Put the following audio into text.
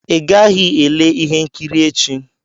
Ị gaghị ele ihe nkiri echi.